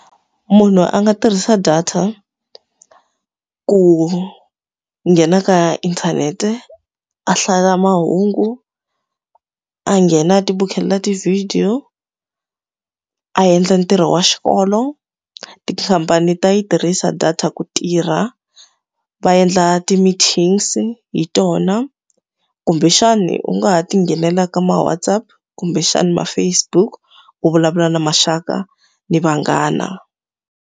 Munhu a nga tirhisa data ku nghena ka inthanete, a hlaya mahungu, a nghena ti vukhelela ti-video, a endla ntirho wa xikolo. Tikhampani ta yi tirhisa data ku tirha, va endla ti-meetings i hi tona. Kumbexani u nga ha ti nghenela ka ma-WhatsApp kumbexana ma-Facebook u vulavula na maxaka na vanghana.